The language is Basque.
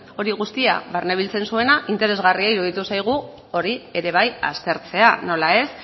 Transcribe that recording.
hori guztia barnebiltzen zuena interesgarria iruditu zaigu hori ere bai aztertzea nola ez